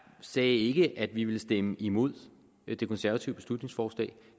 sagde ikke at vi ville stemme imod det konservative beslutningsforslag